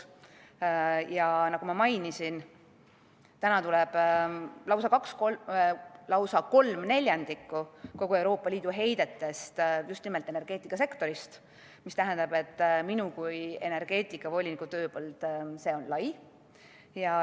Ja nagu ma mainisin, täna tuleb lausa kolm neljandikku kogu Euroopa Liidu heitest just nimelt energeetikasektorist, mis tähendab, et minu kui energeetikavoliniku tööpõld on lai.